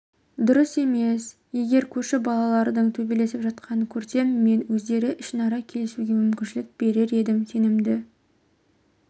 дұрыс емес егер көрші балалардың төбелесіп жатқанын көрсем мен өздері ішінара келісуге мүмкіншілк берер едім сенімді